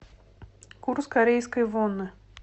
курс корейской воны